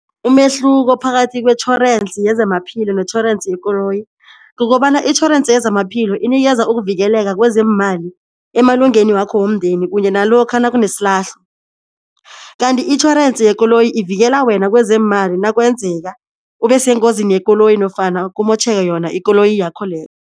Umehluko phakathi kwetjhorensi yezamaphilo netjhorensi yekoloyi kukobana itjhorensi yezamaphilo inikeza ukuvikeleka kwezeemali emalungeni wakho womndeni kunye nalokha nakunesilahlo. Kanti itjhorensi yekoloyi ivikela wena kwezeemali nakwenzeka ubesengozini yekoloyi nofana kumotjheke yona ikoloyi yakho leyo.